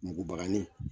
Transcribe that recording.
Mugubagani